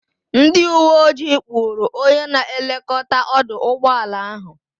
Ndịuweojii kpụrụ onye na-elekọta ọdụ ụgbọala ahụ.